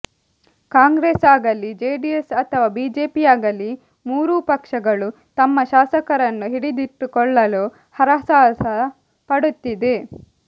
ಕಾಂಗ್ರೆಸ್ ಆಗಲೀ ಜೆಡಿಎಸ್ ಅಥವಾ ಬಿಜೆಪಿಯಾಗಲೀ ಮೂರೂ ಪಕ್ಷಗಳು ತಮ್ಮ ಶಾಸಕರನ್ನು ಹಿಡಿದಿಟ್ಟು ಕೊಳ್ಳಲು ಹರಸಾಹಸ ಪಡುತ್ತಿದೆ